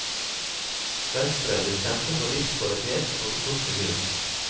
Venstre vil kjempe for livskvalitet og godt miljø.